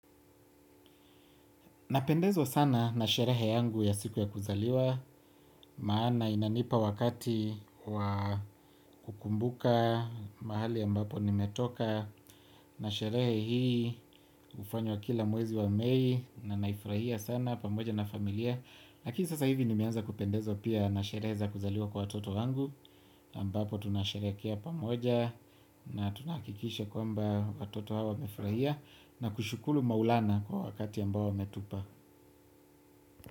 Napendezwa sana na sherehe yangu ya siku ya kuzaliwa, maana inanipa wakati wa kukumbuka mahali ambapo nimetoka, na sherehe hii hufanywa kila mwezi wa mei, na nahifurahia sana pamoja na familia, lakini sasa hivi nimeanza kupendezwa pia na sherehe za kuzaliwa kwa watoto wangu, ambapo tunasherehekea pamoja, na tuna hakikisha kwamba watoto hao wamefurahia, na kushukuru maulana kwa wakati ambao wametupa.